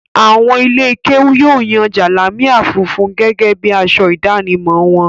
Àwọn ilé-kéú yóò yan jalamia funfun gẹ́gẹ́ bí i aṣọ ìdánimọ̀ wọn.